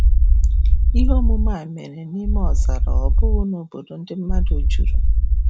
Ihe omume a mere n'ime ọzara ọ bụghị n'obodo ndị mmadụ juru.